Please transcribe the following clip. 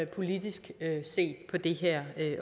politisk set på det her